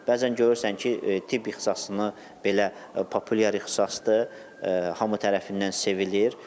Bəzən görürsən ki, tibb ixtisasını belə populyar ixtisasdır, hamı tərəfindən sevilir.